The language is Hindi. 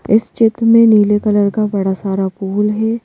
इस चित में नीले कलर का बड़ा सारा फूल है।